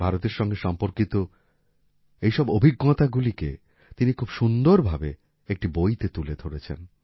ভারতের সঙ্গে সম্পর্কিত এই সব অভিজ্ঞতাগুলিকে তিনি খুব সুন্দরভাবে একটি বইতে তুলে ধরেছেন